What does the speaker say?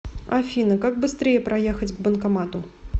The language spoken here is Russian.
афина как быстрее проехать к банкомату